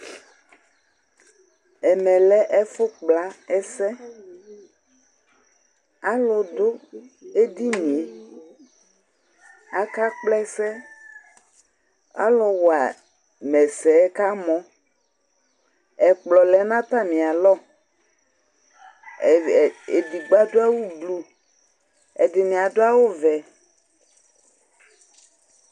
Ɛmɛ lɛ ɛfʋ kpla ɛsɛAlʋ dʋ edinie; akakpla ɛsɛ Alʋ wama ɛsɛ kamɔ, ɛkplɔ lɛ nʋ atamɩalɔEdigbo adʋ awʋ blu, ɛdɩnɩ adʋ awʋ vɛ